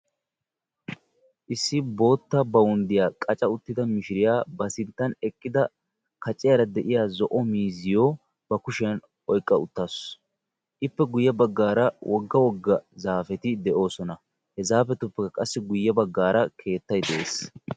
Issi bootta bawunddiya qaca uttida mishiriya ba sinttan eqqida kaciyara de'iya zo'o miizziyo ba kushiyan oyqqa uttaasu. Ippe guyye baggaara wogga wogga zaafeti do'oosona. He zaafiyappekka qassi guyye baggaara keettay de'ees.